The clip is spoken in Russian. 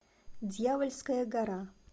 дьявольская гора